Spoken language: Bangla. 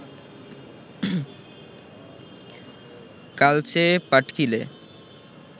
কালচে পাটকিলে